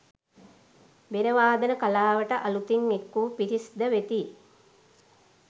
බෙර වාදන කලාවට අළුතින් එක්වූ පිරිස්ද වෙති